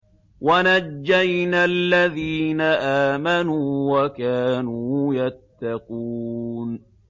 وَنَجَّيْنَا الَّذِينَ آمَنُوا وَكَانُوا يَتَّقُونَ